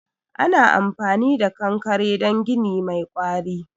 Ana amfani da kankare don gini mai ƙwari.